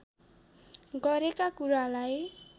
गरेका कुरालाई